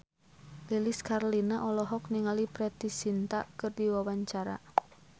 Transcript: Lilis Karlina olohok ningali Preity Zinta keur diwawancara